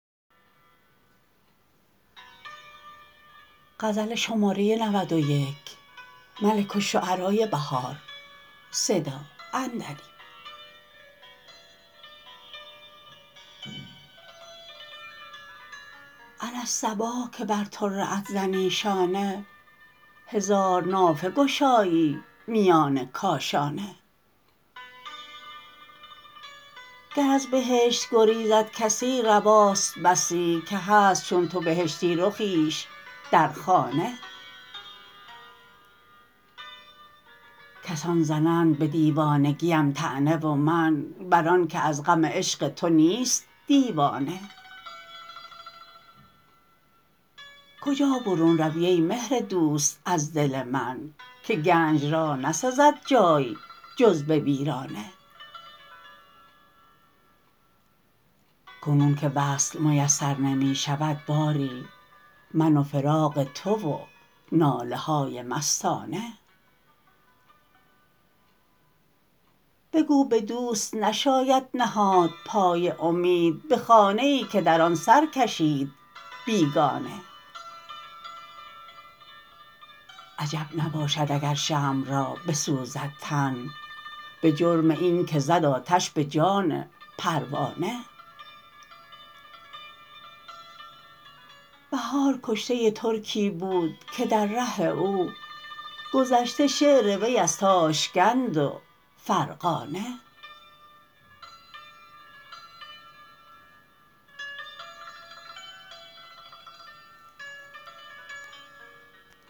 علی الصباح که بر طره ات زنی شانه هزار نافه گشایی میان کاشانه گر از بهشت گریزد کسی رواست بسی که هست چون تو بهشتی رخیش درخانه کسان زنند به دیوانگیم طعنه و من بر آن که از غم عشق تو نیست دیوانه کجا برون روی ای مهر دوست از دل من که گنج را نسزد جای جز به ویرانه کنون که وصل میسر نمی شود باری من و فراق تو و ناله های مستانه بگو به دوست نشاید نهاد پای امید به خانه ای که در آن سرکشید بیگانه عجب نباشد اگر شمع را بسوزد تن به جرم اینکه زد آتش به جان پروانه بهار کشته ترکی بود که در ره او گذشته شعر وی از تاشکند و فرغانه